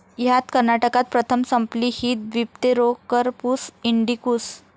ह्यात कर्नाटकात प्रथम संपली ही दिप्तेरोकरपुस इंडीकुस.